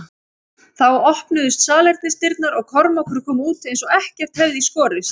Þá opnuðust salernisdyrnar og Kormákur kom út eins og ekkert hefði í skorist.